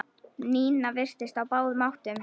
Nína virtist á báðum áttum.